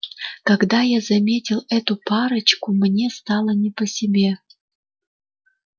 когда я заметил эту парочку мне стало не по себе